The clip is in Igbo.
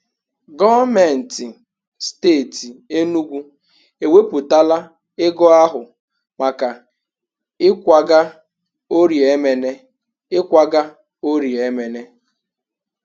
Gọọmenti steeti Enugwu ewepụtala ego ahụ maka ịkwaga Orie Emene. ịkwaga Orie Emene.